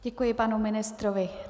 Děkuji panu ministrovi.